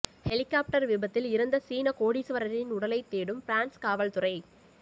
helicopter விபத்தில் இறந்த சீனக் கோடீஸ்வரரின் உடலைத் தேடும் பிரான்ஸ் காவல்துறை